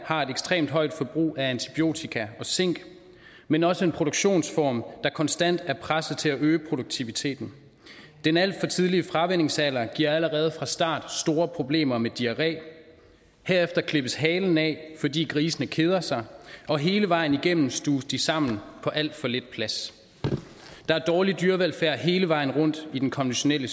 har et ekstremt højt forbrug af antibiotika og zink men også en produktionsform der konstant er presset til at øge produktiviteten den alt for tidlige fravænningsalder giver allerede fra start store problemer med diarré herefter klippes halen af fordi grisene keder sig og hele vejen igennem stuves de sammen på alt for lidt plads der er dårlig dyrevelfærd hele vejen rundt i den konventionelle